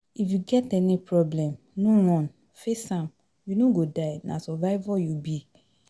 If you get any problem, no run, face am, you no go die na survivor you be